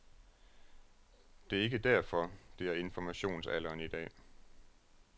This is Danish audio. Det er ikke derfor, det er informationsalderen i dag.